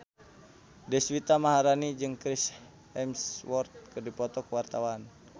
Deswita Maharani jeung Chris Hemsworth keur dipoto ku wartawan